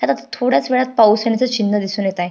थोड्याच वेळात पाऊस येण्याच चिन्ह दिसुन येत आहे.